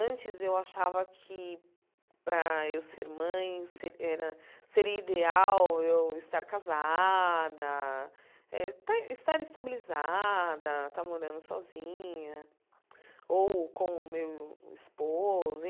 Antes, eu achava que, para eu ser mãe, se era seria ideal eu estar casada eh, estar estar estabilizada, estar morando sozinha ou com o meu esposo.